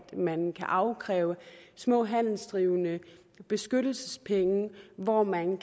man kan afkræve små handelsdrivende beskyttelsespenge hvor man